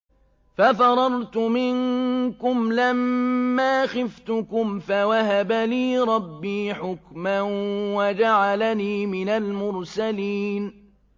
فَفَرَرْتُ مِنكُمْ لَمَّا خِفْتُكُمْ فَوَهَبَ لِي رَبِّي حُكْمًا وَجَعَلَنِي مِنَ الْمُرْسَلِينَ